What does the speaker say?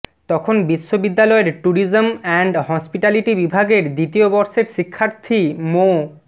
তখন বিশ্ববিদ্যালয়ের tourism and hospitality বিভাগের দ্বিতীয় বর্ষের শিক্ষার্থী মো